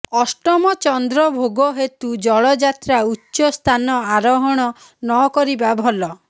ଅଷ୍ଟମଚନ୍ଦ୍ର ଭୋଗ ହେତୁ ଜଳଯାତ୍ରା ଉଚ୍ଚସ୍ଥାନ ଆରୋହଣ ନ କରିବା ଭଲ